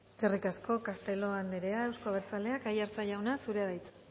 eskerrik asko castelo andrea euzko abertzaleak aiartza jauna zurea da hitza